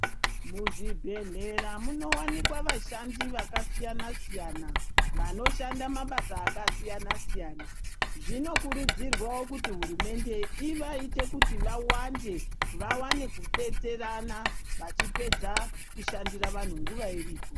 Muzvibhedhlera munovanikwa vashandi vakasiyana siyana vanoshanda mabasa akasiyana siyana zvinokurudzirwa kuti hurumende ivaite kuti vawande vawane kudetserana vachipedza kushandira vanhu nguwa iripo.